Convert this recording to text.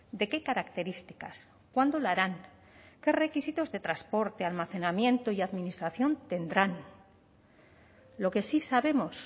de qué características cuándo la harán qué requisitos de transporte almacenamiento y administración tendrán lo que sí sabemos